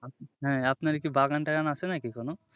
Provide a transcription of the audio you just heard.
হ্যাঁ আপনার কি বাগান টাগান আছে নাকি কোনো?